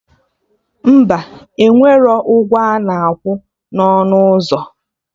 Mba, enwere ụgwọ ana akwa na ọnụ ụzọ